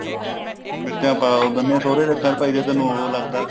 ਮਿਰਚਾ ਪਾ ਦਿੰਦਿਆ ਸਹੁਰੇ ਦੇ ਅੱਖਾ ਚ ਭਾਈ ਜੇ ਤੇਨੂੰ ਉਹ ਲੱਗਦਾ